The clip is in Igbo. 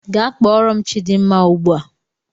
Gaa kpọọrọ m chidimma ugbu a!